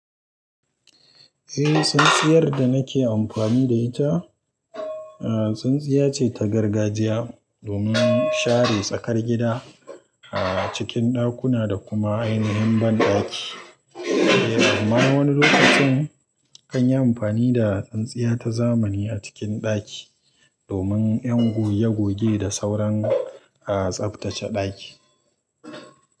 Eh, tsintsiyar da nake amfani da ita, a tsintsiya ce ta gargajiya domin share tsakar gida, a cikin ɗakuna da kuma ainihin banɗaki. Eh, amma wani lokacin na kan yi amfani da tsintsiya ta zamani a cikin ɗaki domin 'yan goge goge da sauran a tsaftace ɗaki.